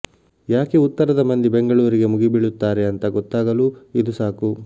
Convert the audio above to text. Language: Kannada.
ಯಾಕೆ ಉತ್ತರದ ಮಂದಿ ಬೆಂಗಳೂರಿಗೆ ಮುಗಿಬೀಳುತ್ತಾರೆ ಅಂತ ಗೊತ್ತಾಗಲೂ ಇದು ಸಾಕು